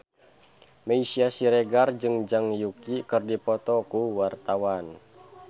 Meisya Siregar jeung Zhang Yuqi keur dipoto ku wartawan